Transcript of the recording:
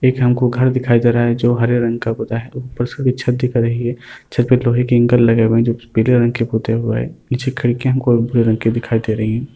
एक हमको घर दिखाई दे रहा है जो हरे रंग का पुता है उपर से कोई छत दिख रही है छत पे एक लोहे की इंकल लगे हुए हैं जो की पीले रंग के पुते हुए है। पीछे खिड़कीयां हमको भूरे रंग की दिखाई दे रही हैं।